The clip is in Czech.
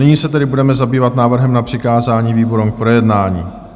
Nyní se tedy budeme zabývat návrhem na přikázání výborům k projednání.